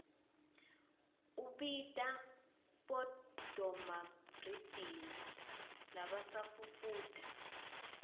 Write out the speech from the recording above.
ubita bodomabhrinidi labasafufuda